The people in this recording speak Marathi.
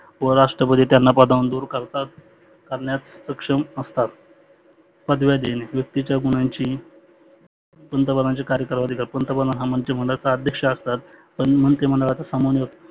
उपराष्ट्रपती त्यांना पदावरुण दुर करतात, करण्यास सक्षम असतात. पदव्या देणे व्यक्तिच्या गुणांची पंतप्रधानाचे कार्यकाळ व आधिकार पंतप्रधान हा मंत्रीमंडळाचा अध्यक्ष असतात. तन मन ते मंडाळाचा सामाव